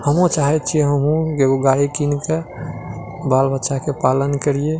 हम्हू चाहे छीये हम्हू एगो गाड़ी किन के बाल बच्चा के पालन करिए।